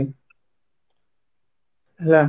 ହେଲା